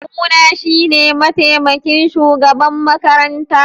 Kawuna shine mataimakin shugaban makaranta.